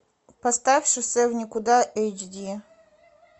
поставь шоссе в никуда эйч ди